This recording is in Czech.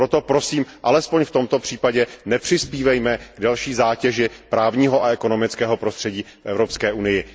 Proto prosím, alespoň v tomto případě, nepřispívejme k další zátěži právního a ekonomického prostředí v Evropské unii.